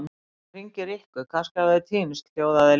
Ég verð að hringja í Rikku, kannski hafa þau týnst hljóðaði Lilla.